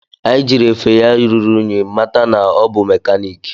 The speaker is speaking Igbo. Anyi jiri efe ya ruru unyi mata na ọ bụ mekaniki